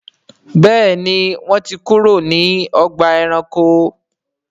Béèni wón tí kúrò ní Ọgbà ẹranko.